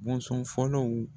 Bɔnsɔn fɔlɔw.